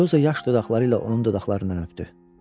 Elioza yaş dodaqları ilə onun dodaqlarından öpdü.